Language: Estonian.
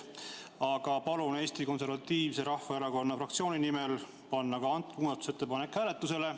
Aga palun Eesti Konservatiivse Rahvaerakonna fraktsiooni nimel panna ka see muudatusettepanek hääletusele.